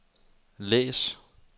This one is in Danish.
læs